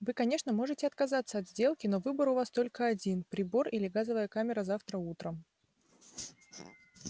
вы конечно можете отказаться от сделки но выбор у вас только один прибор или газовая камера завтра утром